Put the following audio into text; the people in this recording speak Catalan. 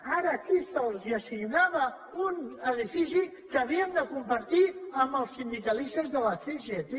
ara aquí se’ls assignava un edifici que havien de compartir amb els sindicalistes de la cgt